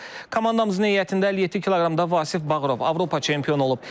Komandamızın heyətində 57 kq-da Vasif Bağırov Avropa çempionu olub.